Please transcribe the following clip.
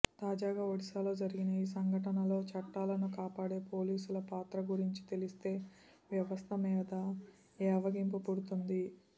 తాజాగా ఒడిశాలో జరిగిన ఈ సంఘటనలో చట్టాలను కాపాడే పోలీసుల పాత్ర గురించి తెలిస్తే వ్యవస్థ మీద ఏవగింపు పుడుతుంది